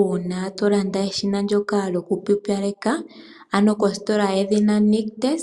Uuna tolanda eshina ndyoka lyoku pupyaleka ano kositola yedhina Nictus,